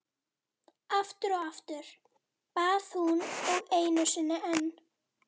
Aftur og aftur, bað hún og einu sinni enn.